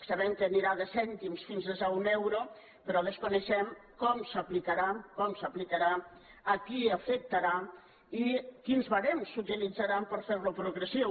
sabem que anirà de cèntims fins a un euro però desconeixem com s’aplicarà com s’aplicarà a qui afectarà i quins ba·rems s’utilitzaran per fer·lo progressiu